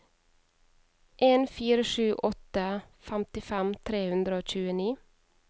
en fire sju åtte femtifem tre hundre og tjueni